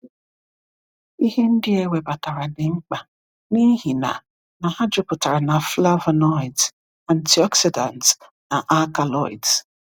Ihe ndị a ewebatara dị mkpa n’ihi na na ha jupụtara na flavonoids, antioxidants, na alkaloids.